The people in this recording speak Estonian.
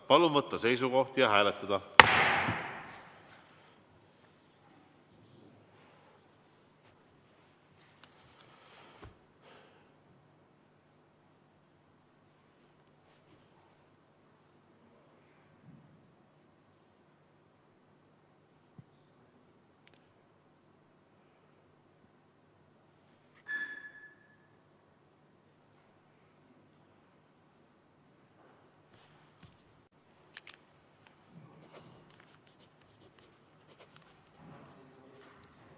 Palun võtta seisukoht ja hääletada!